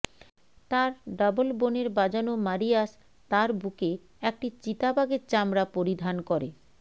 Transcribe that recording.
তার ডাবল বনের বাজানো মারিয়াস তার বুকে একটি চিতাবাঘের চামড়া পরিধান করে